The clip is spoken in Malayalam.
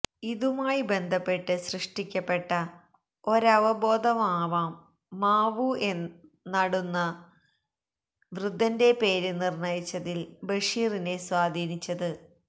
ഇതുമായി ബന്ധപ്പെട്ട് സൃഷ്ടിക്കപ്പെട്ട ഒരവബോധമാവാം മാവു നടുന്ന വൃദ്ധന്റെ പേര് നിര്ണയിച്ചതില് ബഷീറിനെ സ്വാധീനിച്ചത്